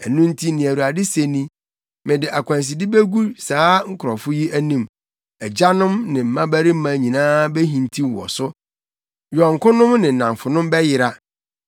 Ɛno nti, nea Awurade se ni: “Mede akwanside begu saa nkurɔfo yi anim. Agyanom ne mmabarima nyinaa behintiw wɔ so; yɔnkonom ne nnamfonom bɛyera.”